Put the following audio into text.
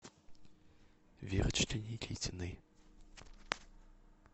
верочке никитиной